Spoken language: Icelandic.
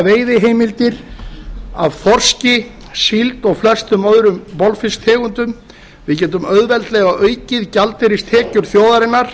veiðiheimildir af þorski síld og flestum öðrum bolfiskstegundum við getum auðveldlega aukið gjaldeyristekjur þjóðarinnar